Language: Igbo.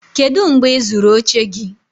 kedu mgbe ị zụrụ oche gị?